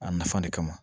A nafan de kama